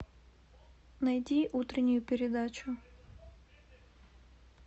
найди утреннюю передачу